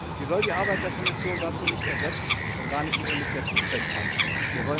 Sie soll die Arbeit der Kommission dazu nicht ersetzen, schon gar nicht ihr Initiativrecht einschränken.